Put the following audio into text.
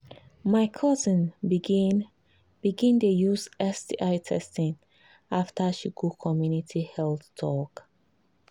my cousin begin begin dey use sti testing after she go community health talk.